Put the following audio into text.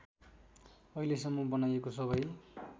अहिलेसम्म बनाइएको सबै